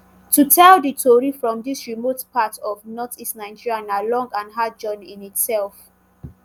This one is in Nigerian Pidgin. to tell di tori from dis remote part of northeast nigeria na long and hard journey in itself